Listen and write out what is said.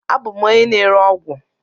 Abụ m onye na-ere ọgwụ..